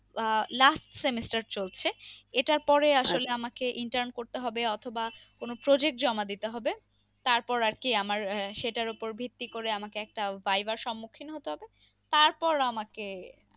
আহ last semester চলছে। এটার পরে আসলে আমাকে intrun করতে হবে অথবা কোনো project জমা দিতে হবে তারপর আরকি আমার আহ সেটার ওপর ভিত্তি করে আমাকে একটা viva র সম্মুখীন হতে হবে তারপর আমাকে